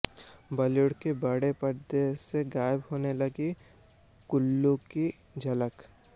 Bollywood के बड़े पर्दे से गायब होने लगी कुल्लू की झलक